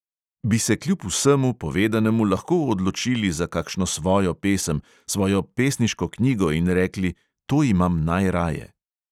Bi se kljub vsemu povedanemu lahko odločili za kakšno svojo pesem, svojo pesniško knjigo in rekli: to imam najraje?